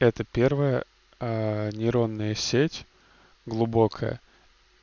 это первое нейронная сеть глубокая